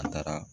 An taara